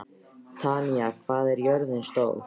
Tanya, hvað er jörðin stór?